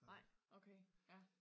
Nej okay ja